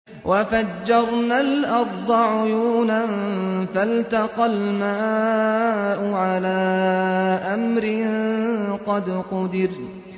وَفَجَّرْنَا الْأَرْضَ عُيُونًا فَالْتَقَى الْمَاءُ عَلَىٰ أَمْرٍ قَدْ قُدِرَ